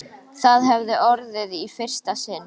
Það hefði orðið í fyrsta sinn.